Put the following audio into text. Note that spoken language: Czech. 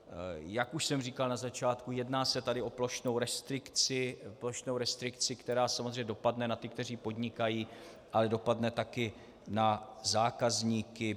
Jak už jsem říkal na začátku, jedná se tady o plošnou restrikci, která samozřejmě dopadne na ty, kteří podnikají, ale dopadne taky na zákazníky.